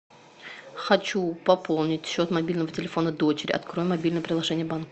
хочу пополнить счет мобильного телефона дочери открой мобильное приложение банка